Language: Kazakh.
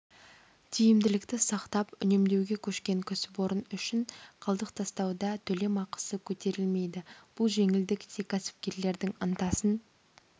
тиімділікті сақтап үнемдеуге көшкен кәсіпорын үшін қалдық тастауда төлемақысы көтерілмейді бұл жеңілдік те кәсіпкерлердің ынтасын